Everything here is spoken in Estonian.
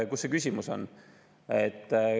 Kus see küsimus on?